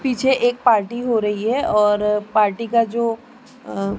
पीछे एक पार्टी हो रही है और पार्टी का जो अं--